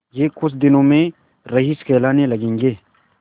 यह कुछ दिनों में रईस कहलाने लगेंगे